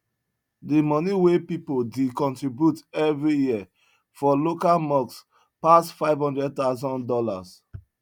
di moni wen pipu dey contribute everi year for local mosques pass five hundred thousand dollars